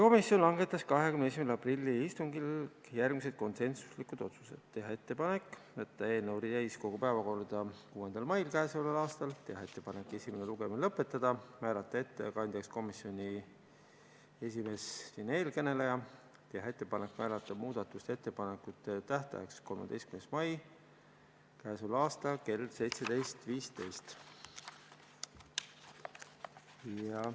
Komisjon langetas 21. aprilli istungil järgmised konsensuslikud otsused: teha ettepanek saata eelnõu täiskogu päevakorda 6. maiks k.a, teha ettepanek esimene lugemine lõpetada, määrata ettekandjaks komisjoni esimees ja teha ettepanek määrata muudatusettepanekute esitamise tähtajaks 13. mai k.a kell 17.15.